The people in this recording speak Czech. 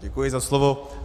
Děkuji za slovo.